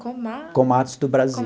Koma... Komatsu do Brasil.